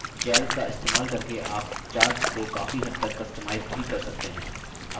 calc का इस्तेमाल करके आप charts को काफी हद तक customize भी कर सकते हैं